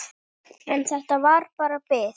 En þetta var bara bið.